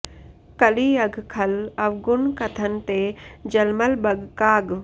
कलि अघ खल अवगुन कथन ते जलमल बग काग